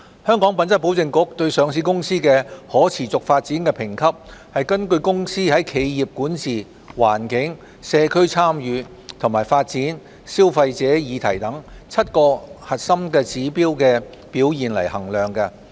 香港品質保證局對上市公司的可持續發展評級根據公司在企業管治、環境、社區參與和發展、消費者議題等7個核心指標的表現衡量。